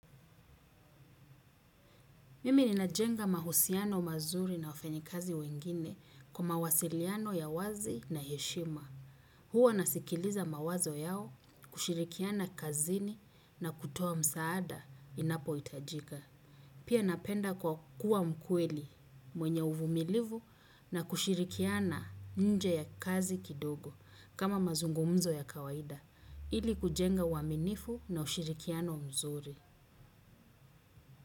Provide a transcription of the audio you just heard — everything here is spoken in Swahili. Mimi ninajenga mahusiano mazuri na wafanyakazi wengine kwa mawasiliano ya wazi na heshima. Huwa nasikiliza mawazo yao kushirikiana kazini na kutoa msaada inapohitajika. Pia napenda kwa kuwa mkweli mwenye uvumilivu na kushirikiana nje ya kazi kidogo kama mazungumzo ya kawaida. Ili kujenga uaminifu na ushirikiano mzuri.